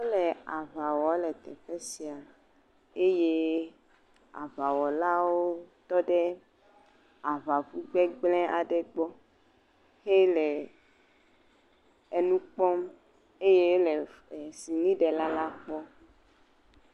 Wole aŋa wɔ le teƒe sia eye aŋawɔlawo tɔ ɖe aŋaŋu gbegblẽ aɖe gbɔ xele enu kpɔm eye ele ɛ sinɖela la kpɔm